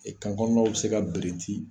kan kɔnɔnaw bɛ se ka birinti.